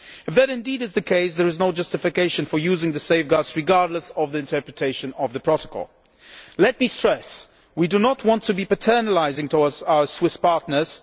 If that is indeed the case, there is no justification for using the safeguards, regardless of the interpretation of the protocol. Less me stress that we do not want to be paternalistic towards our Swiss partners.